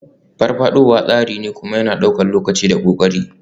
Farfadowa tsari ne, kuma yana ɗaukar lokaci da ƙoƙari.